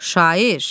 Şair.